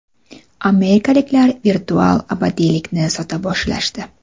Amerikaliklar virtual abadiylikni sota boshlashdi.